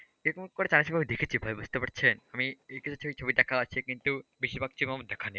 এরকম কটা চায়না ছবি আমি দেখেছি ভাই বুঝতে পারছেন, আমি এই কটা ছবি আমার দেখা আছে কিন্তু বেশিরভাগ ছবি আমার দেখা নেই।